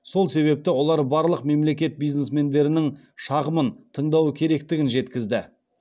сол себепті олар барлық мемлекет бизнесмендерінің шағымын тыңдауы керектігін жеткізді